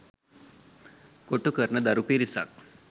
කොටු කරන දරු පිරිසක්